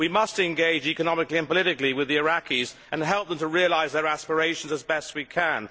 we must engage economically and politically with the Iraqis and help them to realise their aspirations as best we can.